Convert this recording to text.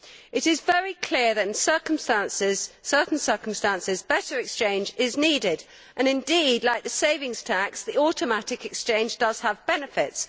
It is very clear that in certain circumstances, better exchange is needed, and indeed, like the savings tax, the automatic exchange does have benefits.